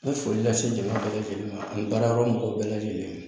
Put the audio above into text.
N bɛ foli lase jama bɛɛ lajɛlen ma ani baarayɔrɔ mɔgɔw bɛɛ lajɛlen